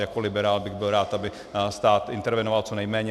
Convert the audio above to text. Jako liberál bych byl rád, aby stát intervenoval co nejméně.